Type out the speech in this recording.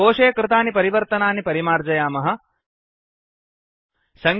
कोशे कृतानि परिवर्तनानि परिमार्जयामः डिलीट् कुर्मः